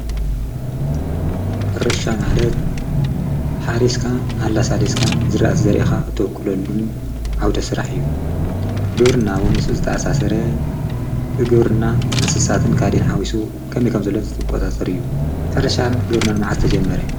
ሕርሻ ማለት ሓሪስካ ኣላሣሌስካን ዝረእት ዘሪእኻ እተውቅለሉን ዓውደሥራሕ እዩን ግብርና ወ ምስኡ ዝተኣሣሠረ እግብርና ንስሳትን ካዲን ሓዊሱ ከመከምዘለን ዘተቋታጽር እዩን ሕርሻን ግብርናንመዓዝ ተጀመረ?